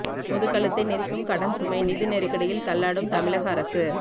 பொது கழுத்தை நெரிக்கும் கடன் சுமை நிதி நெருக்கடியில் தள்ளாடும் தமிழக அரசு